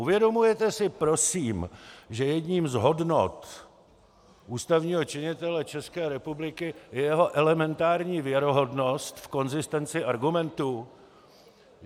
Uvědomujete si prosím, že jednou z hodnot ústavního činitele České republiky je jeho elementární věrohodnost v konzistenci argumentů?